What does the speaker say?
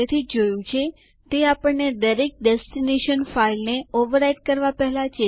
પરંતુ જો આપણે યુઝરો ના નામ જાણવાની જરૂર હોય તો શું